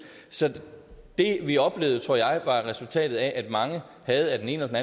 så det vi oplevede tror jeg var resultatet af at mange af den ene eller